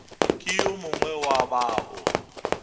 ke yo mongwe wa bao